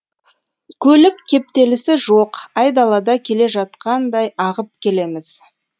көлік кептелісі жоқ айдалада келе жатқандай ағып келеміз